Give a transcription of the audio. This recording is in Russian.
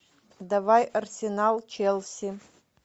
давай арсенал челси